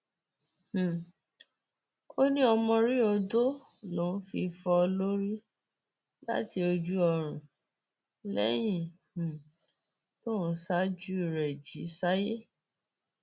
um ó ní ọmọrí odò lòún fi fọ ọ lórí láti ojú oorun lẹyìn um tóun ṣáájú rẹ jí sáyé